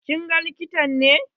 Kin ga likita ne?